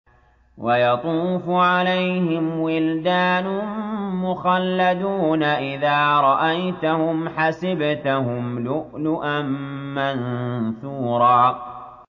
۞ وَيَطُوفُ عَلَيْهِمْ وِلْدَانٌ مُّخَلَّدُونَ إِذَا رَأَيْتَهُمْ حَسِبْتَهُمْ لُؤْلُؤًا مَّنثُورًا